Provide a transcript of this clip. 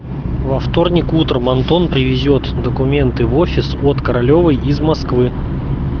во вторник утром антон привезёт документы в офис от королёва из москвы